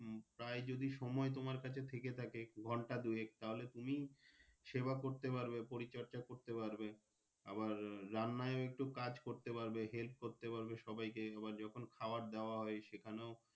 তাই যদি সময় তোমার কাছে থেকে থাকে ঘন্টা দুয়েক তাহলে তুমি সেবা করতে পারবে পরিচর্যা করতে পারবে আবার রান্নার ও একটু কাজ করতে পারবে Help ও করতে পারবে সবাইকে আবার যখন আবার খাবার দাবার ও সেখানে।